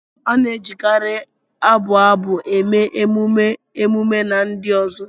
A na-ejikarị abụ abụ eme emume, emume, na ndi uzo